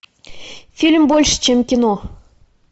фильм больше чем кино